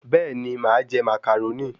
Bẹ́ẹ̀ni, màa je Màcàrónì